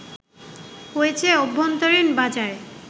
হয়েছে অভ্যন্তরীণ বাজারে